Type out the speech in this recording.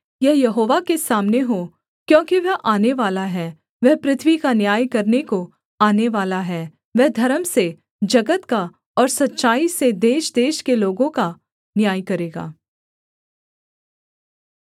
यह यहोवा के सामने हो क्योंकि वह आनेवाला है वह पृथ्वी का न्याय करने को आनेवाला है वह धर्म से जगत का और सच्चाई से देशदेश के लोगों का न्याय करेगा